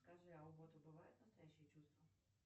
скажи а у бота бывают настоящие чувства